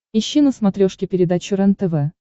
ищи на смотрешке передачу рентв